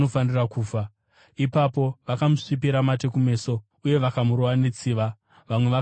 Ipapo vakamusvipira mate kumeso uye vakamurova netsiva. Vamwe vakamurova nembama